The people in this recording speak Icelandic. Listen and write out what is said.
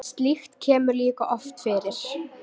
slíkt kemur líka oft fyrir